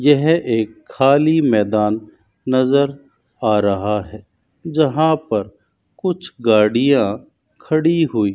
यह एक खाली मैदान नजर आ रहा है जहां पर कुछ गाड़ियां खड़ी हुई--